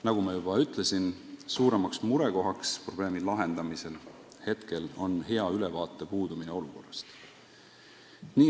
" Nagu ma juba ütlesin, suurim mure probleemi lahendamisel on praegu see, et puudub hea ülevaade olukorrast.